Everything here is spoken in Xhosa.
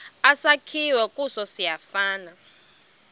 esakhiwe kuso siyafana